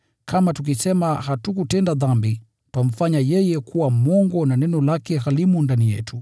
Kama tukisema hatukutenda dhambi, twamfanya yeye kuwa mwongo na neno lake halimo ndani yetu.